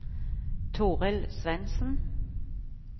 Torild Svendsen